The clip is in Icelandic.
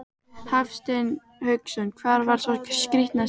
Hafsteinn Hauksson: Hvar var sá skrítnasti?